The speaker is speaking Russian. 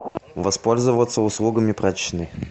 воспользоваться услугами прачечной